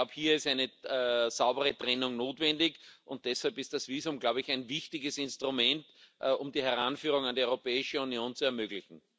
Ich glaube, hier ist eine saubere Trennung notwendig, und deshalb ist das Visum ein wichtiges Instrument, um die Heranführung an die Europäische Union zu ermöglichen.